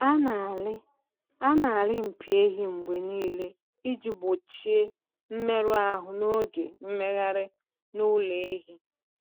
A na-alị A na-alị mpi ehi mgbe niile iji gbochie mmerụ ahụ n’oge mmegharị n’ụlọ ehi.